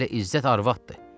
Elə İzzət arvaddır.